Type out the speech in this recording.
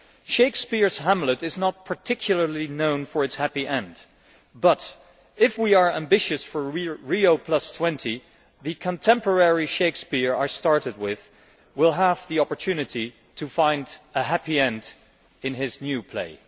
Shakespeare's Hamlet is not particularly known for its happy end, but if we are ambitious for Rio20 the contemporary Shakespeare I started with will have the opportunity to find a happy end in his new play.